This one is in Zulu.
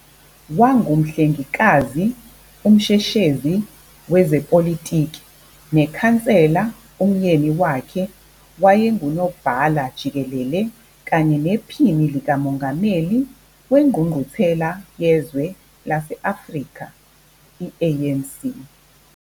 Wangumhlengikazi, umsheshezi wezepolitiki nekhansela kumyeni wakhe, wayengunobhala jikelele kanye nephini lika mongameli wengqungquthela yezwe lase Afrika, ANC,